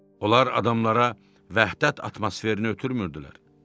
Onlar adamlara vəhdət atmosferini ötürmürdülər.